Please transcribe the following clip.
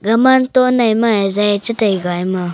gaman ton nai mai zai chitai ga ema.